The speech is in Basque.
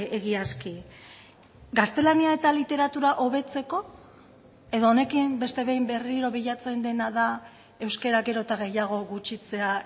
egiazki gaztelania eta literatura hobetzeko edo honekin beste behin berriro bilatzen dena da euskara gero eta gehiago gutxitzea